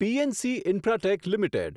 PNC Infratech limited